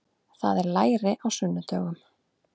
Það er læri á sunnudögum.